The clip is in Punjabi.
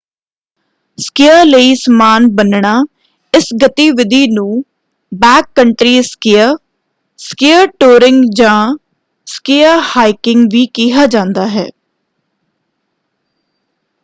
ਸਕੀਅ ਲਈ ਸਮਾਨ ਬੰਨ੍ਹਣਾ: ਇਸ ਗਤੀਵਿਧੀ ਨੂੰ ਬੈਕਕੰਟਰੀ ਸਕੀਅ ਸਕੀਅ ਟੂਅਰਿੰਗ ਜਾਂ ਸਕੀਆ ਹਾਈਕਿੰਗ ਵੀ ਕਿਹਾ ਜਾਂਦਾ ਹੈ।